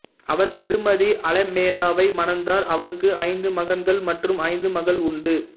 அவர் திருமதி அலுமேலாவை மணந்தார் அவருக்கு ஐந்து மகன்கள் மற்றும் ஐந்து மகள் உண்டு